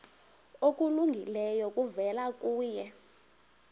okulungileyo kuvela kuye